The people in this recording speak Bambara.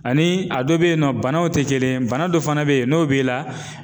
Ani a dɔ bɛyinɔ banaw tɛ kelen ye bana dɔ fana bɛ yen n'o b'i la.